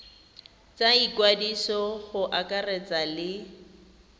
tsa ikwadiso go akaretsa le